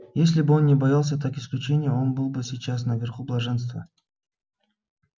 если бы он не боялся так исключения он был бы сейчас наверху блаженства